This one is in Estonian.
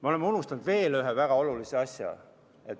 Me oleme unustanud veel ühe väga olulise asja.